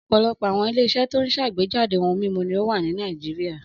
Ọ̀pọ̀lọpọ̀ àwọn ilé-iṣẹ́ tó ń ṣàgbéjáde ohun-mímu ni ó wà ní Nàìjíríà.